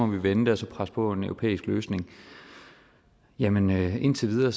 vi vende det og så presse på for en europæisk løsning jamen indtil videre